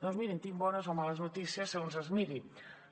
doncs mirin tinc bones o males notícies segons com es miri